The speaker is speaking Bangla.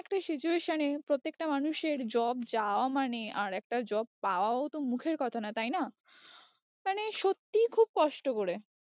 একটা situation এ প্রত্যেকটা মানুষের job যাওয়া মানে আরেকটা job পাওয়াও তো মুখের কথা না তাই না মানে সত্যি খুব কষ্ট করে